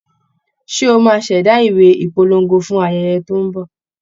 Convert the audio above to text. Ṣé o máa ṣẹ̀dá ìwé ìpolongo fún ayẹyẹ tó ń bọ̀?